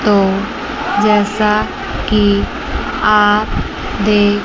और जैसा कि आप देख--